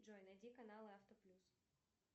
джой найди канал авто плюс